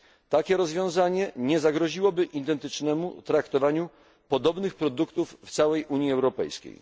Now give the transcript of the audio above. Takie rozwiązanie nie zagroziłoby identycznemu traktowaniu podobnych produktów w całej Unii Europejskiej.